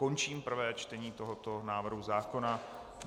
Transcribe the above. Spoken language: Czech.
Končím prvé čtení tohoto návrhu zákona.